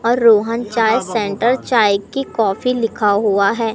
और रोहन चाय सेंटर चाय की कॉफी लिखा हुआ है।